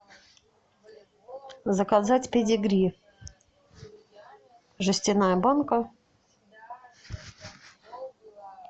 заказать педигри жестяная банка